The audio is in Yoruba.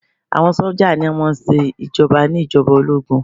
Àwọn sójà ní o máà ń ṣe ìjoba ní ìjọba ológun.